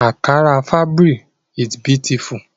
Ankara fabric is beautiful